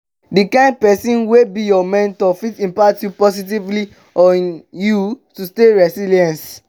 di kind pesin wey be your mentor fit impact positively on you to stay resilience.